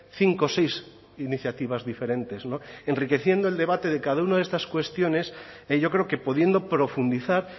cinco o seis iniciativas diferentes enriqueciendo el debate de cada uno de estas cuestiones yo creo que pudiendo profundizar